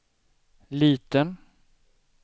liten